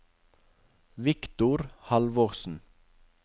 Victor Halvorsen